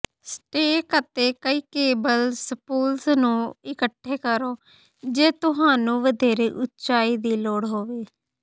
stack ਅਤੇ ਕਈ cable spools ਨੂੰ ਇਕੱਠੇ ਕਰੋ ਜੇ ਤੁਹਾਨੂੰ ਵਧੇਰੇ ਉਚਾਈ ਦੀ ਲੋੜ ਹੋਵੇ